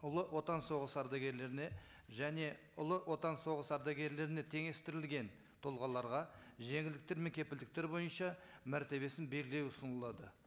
ұлы отан соғысы ардагерлеріне және ұлы отан соғыс ардагерлеріне теңестірілген тұлғаларға жеңілдіктер мен кепілдіктер бойынша мәртебесін белгілеу ұсынылады